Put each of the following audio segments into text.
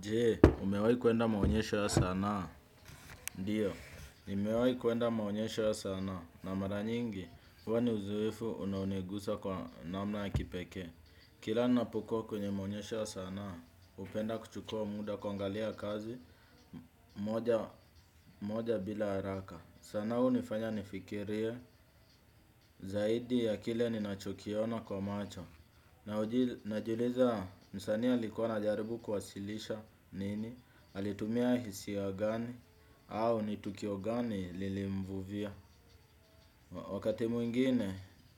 Jee, umewahi kuenda maonyesho ya sanaa. Ndiyo, nimewahi kwenda maonyesho ya sanaa. Na mara nyingi, huwa ni uzoefu unaoniguza kwa namna ya kipekee. Kila napokua kwenye maonyesho ya sanaa, hupenda kuchukua muda kuangalia kazi moja bila haraka. Sanaa hunifanya nifikirie zaidi ya kile ninachokiona kwa macho. Najiuliza msanii alikuwa anajaribu kuwasilisha nini. Alitumia hisia gani. Au nitukio gani lilimvuvia. Wakati mwingine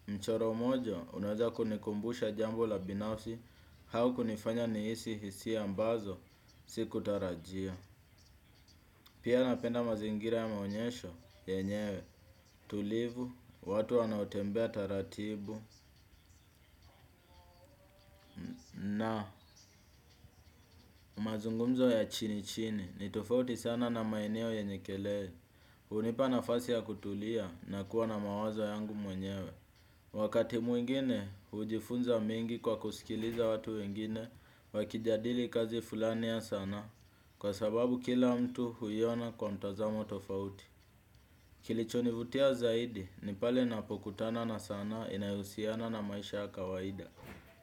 mchoro mmoja unaweza kunikumbusha jambo la binafsi au kunifanya nihisi hisia ambazo Sikutarajia. Pia napenda mazingira ya maonyesho yenyewe tulivu. Watu wanaotembea taratibu na mazungumzo ya chini chini nitofauti sana na maeneo yenye kelele hunipa nafasi ya kutulia na kuwa na mawazo yangu mwenyewe. Wakati mwingine, hujifunza mengi kwa kusikiliza watu wengine wakijadili kazi fulani ya sanaa kwa sababu kila mtu huiona kwa mtazamo tofauti. Kilichonivutia zaidi, ni pale napokutana na sanaa inayohusiana na maisha ya kawaida.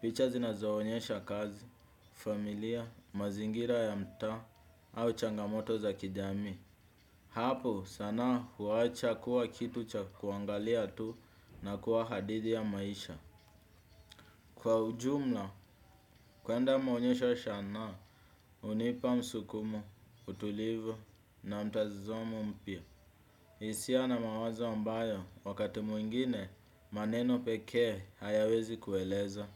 Picha zinazoonyesha kazi, familia, mazingira ya mtaa au changamoto za kijamii. Hapo sanaa huacha kuwa kitu cha kuangalia tu na kuwa hadithi ya maisha. Kwa ujumla, kwenda maonyesho ya shanaa, hunipa msukumo, utulivu na mtazamo mpya. Hisia na mawazo ambayo wakati mwingine maneno pekee hayawezi kueleza.